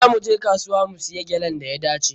Za mu je kasuwa mu siya gyalan da ya dace.